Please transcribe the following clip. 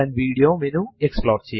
Windows ലെ folder കൾക്ക് സമം ആണിത്